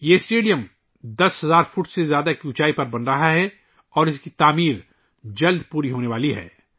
یہ اسٹیڈیم 10 ہزار فٹ سے زیادہ کی بلندی پر بنایا جا رہا ہے اور اس کی تعمیر جلد پوری ہونے والی ہے